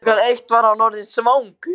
Klukkan eitt var hann orðinn svangur.